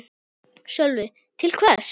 Sölvi: Til hvers?